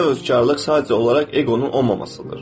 Həqiqi təvəkküllük sadəcə olaraq eqonun olmamasıdır.